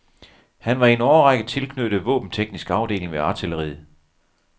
Han var i en årrække tilknyttet våbenteknisk afdeling ved artilleriet.